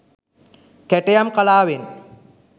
කැටයම් කලාවෙන්